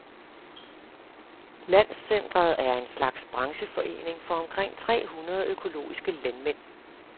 Landscentret er en slags brancheforening for omkring tre hundrede økologiske landmænd.